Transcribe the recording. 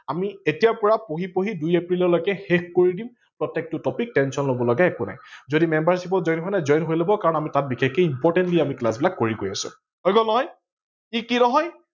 আমি এতিয়া পা পঢ়ি পঢ়ি দুই এপ্ৰিল লৈকে শেষ কৰি দিম প্ৰতেকটো topic tension লব লগা একো নাই। যদি membership ত join হোৱা নাই join হৈ লব কাৰন তাত আমি বিশেষকৈ importantly আমি class বিলাক কৰি গৈ আছো